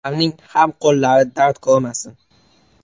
Ularning ham qo‘llari dard ko‘rmasin.